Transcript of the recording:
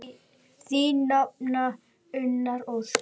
Þín nafna, Unnur Ósk.